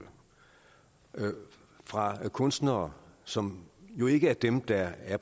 det fra kunstnere som jo ikke er dem der er